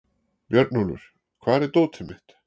Björnólfur, hvar er dótið mitt?